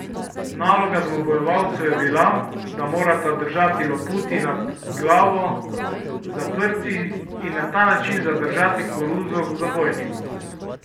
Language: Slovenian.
Naloga dvobojevalcev je bila, da morata držati loputi nad glavo zaprti in na ta način zadržati koruzo v zabojniku.